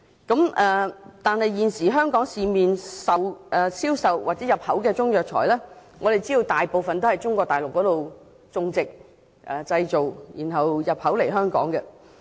可是，現時在香港市面銷售的中藥材，大部分在中國內地種植和製造，然後再進口香港。